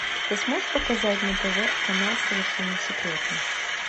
ты сможешь показать на тв канал совершенно секретно